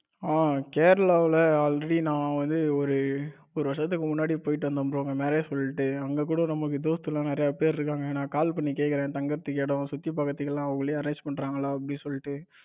அஹ கேரளாவுல already நா வந்து ஒரு ஒரு வருஷத்துக்கு முன்னாடி போயிட்டு வந்தேன் bro அங்க சொல்லிட்டு நம்ம கூட நம்ம தோஸ்து எல்லாம் நிறைய பேர் இருக்காங்க. நா call பண்ணி கேட்கிறேன் தங்கறதுக்கு இடம் சுத்தி பார்க்குறதுக்கு எல்லாம் அவங்களே Arrange பண்றாங்களா அப்படின்னு சொல்லிட்டு.